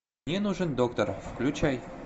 мне нужен доктор включай